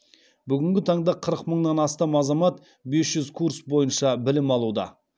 бүгінгі таңда қырық мыңнан астам азамат бес жүз курс бойынша білім алуда